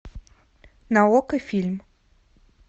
на окко фильм